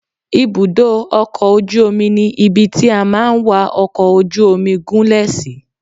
Ibùdó ọkọ̀ ojú omi ni ibi tí a máa ń wa ọkọ̀ ojú omi gún lè sí.